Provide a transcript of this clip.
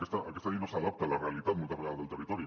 aquesta llei no s’adapta a la realitat moltes vegades del territori